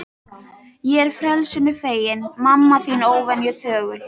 Ég frelsinu feginn, mamma þín óvenju þögul.